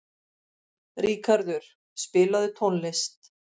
Ríkarður, spilaðu tónlist.